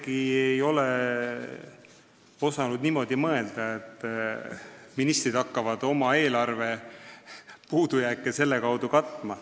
Ma ei ole isegi osanud niimoodi mõelda, et ministrid hakkavad oma eelarvepuudujääke selle kaudu katma.